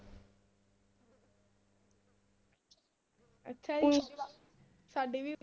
ਅੱਛਾ ਜੀ ਸਾਡੀ ਵੀ